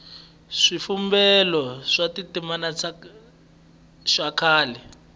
xivumbeko xa tindzimana xa kahle